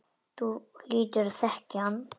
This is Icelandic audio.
Þú hlýtur að þekkja hann.